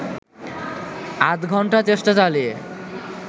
আধঘণ্টা চেষ্টা চালিয়ে